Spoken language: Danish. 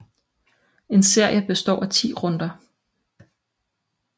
En serie består af 10 runder